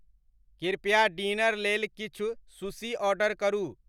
कृप्या डिनर लेल किछु शुशी ऑर्डर करू